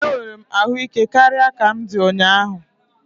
Enwere m ahụ ike karịa ka m di ụnyaahụ